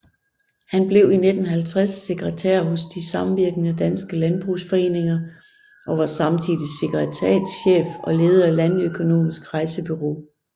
Han blev i 1950 sekretær hos De Samvirkende Danske Landbrugsforeninger og var samtidig sekretariatschef og leder af Landøkonomisk Rejsebureau